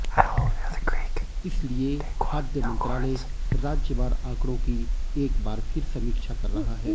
इसलिए खाद्य मंत्रालय राज्यवार आंकड़ों की एक बार फिर समीक्षा कर रहा है